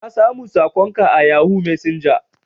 Na samu sakon ka a yahoo messenger.